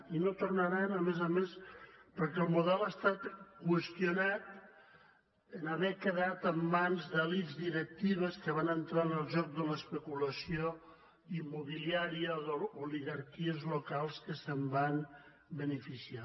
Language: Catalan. i no tornaran a més a més perquè el model ha estat qüestionat en haver quedat en mans d’elits directives que van entrar en el joc de l’especulació immobiliària o oligarquies locals que se’n van beneficiar